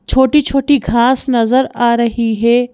छोटी-छोटी घास नजर आ रही है।